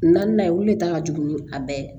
Naaninan ye olu de ta ka jugu ni a bɛɛ ye